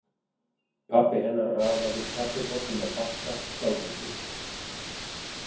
Pabbi hennar raðaði kaffibollum á bakka skjálfhentur.